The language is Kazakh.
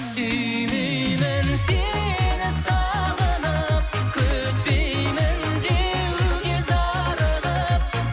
сүймеймін сені сағынып күтпеймін деуге зарығып